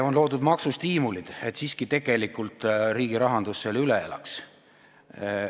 On loodud maksustiimulid, et siiski riigi rahandus selle tegelikult üle elaks.